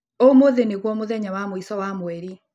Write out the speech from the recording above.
Ũmũthĩ nĩguo mũthenya wa mũico wa mweri.